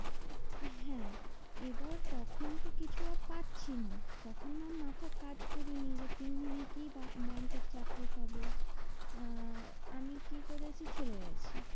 হ্যাঁ এবার তখন তো কিছু আর পাচ্ছিনা তখন আর মাথা কাজ করেনি যে তিন দিনে কি ব~ ব্যাঙ্কের চাকরি পাবো? আহ আমি কি করেছি? চলে গেছি।